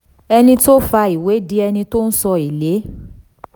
ẹni tó fa ìwé di ẹni tó san èlé